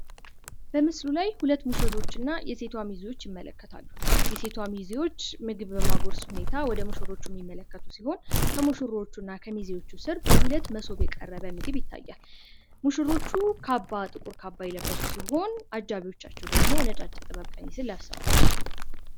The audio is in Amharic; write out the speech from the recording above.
በምስሉ ላይ ሁለት ሙሽሮች እና የሴቷ ሚዜዎች ይመለከታሉ። የሴቷ ሚዜዎች ምግብ በማጉረስ ሁኔታ ወደ ሙሽሮች የሚመለከቱ ሲሆን ከሙሽሮቹና ከሚዜዎቹ ስር በሁለት መሶብ የቀረበ ምስል ይታያል። ሙሽሮቹ ጥቁር ካባ የለበሱ ሲሆን አጃቢዎቻቸው ደግሞ ነጫጭ ጥበብ ቀሚስን ለብሰዋል።